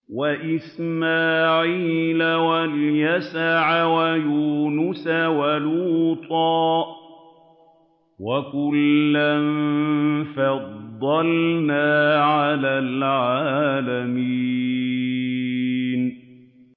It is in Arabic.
وَإِسْمَاعِيلَ وَالْيَسَعَ وَيُونُسَ وَلُوطًا ۚ وَكُلًّا فَضَّلْنَا عَلَى الْعَالَمِينَ